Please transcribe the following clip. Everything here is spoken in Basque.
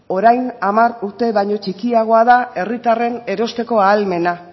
orain hamar urte baino txikiagoa da herritarren erosteko ahalmena